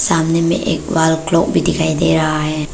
सामने में एक वॉल क्लॉक भी दिखाई दे रहा है।